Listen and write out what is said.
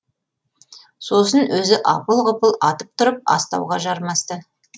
сосын өзі апыл құпыл атып тұрып астауға жармасты